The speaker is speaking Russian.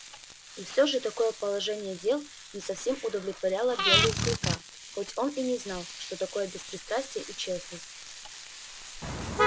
и всё же такое положение дел не совсем удовлетворяло белою клыка хоть он и не знал что такое беспристрастие и честность